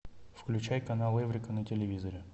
включай канал эврика на телевизоре